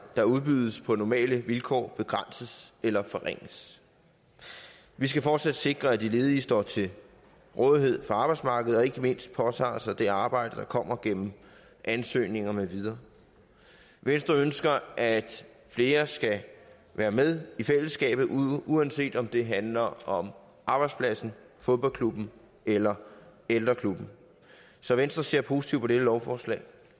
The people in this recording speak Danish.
der udbydes på normale vilkår begrænses eller forringes vi skal fortsat sikre at de ledige står til rådighed for arbejdsmarkedet og ikke mindst påtager sig det arbejde der kommer gennem ansøgninger med videre venstre ønsker at flere skal være med i fællesskabet uanset om det handler om arbejdspladsen fodboldklubben eller ældreklubben så venstre ser positivt på dette lovforslag